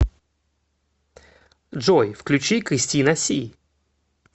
джой включи кристина си